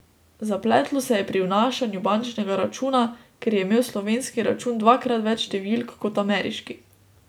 Zapletlo se je pri vnašanju bančnega računa, ker je imel slovenski račun dvakrat več številk kot ameriški.